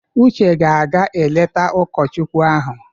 Uche ga-aga eleta ụkọchukwu ahụ.